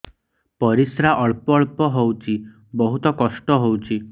ପରିଶ୍ରା ଅଳ୍ପ ଅଳ୍ପ ହଉଚି ବହୁତ କଷ୍ଟ ହଉଚି